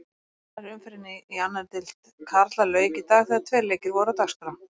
Annarri umferðinni í annarri deild karla lauk í dag þegar tveir leikir voru á dagskrá.